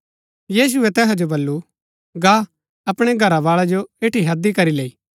यीशुऐ तैहा जो वलू गा अपणै घरवाळै जो ऐठी हैदी करी लैई